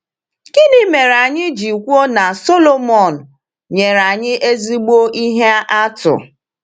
Gịnị mere anyị ji kwuo na Sọlọmọn nyere anyị ezigbo ihe atụ?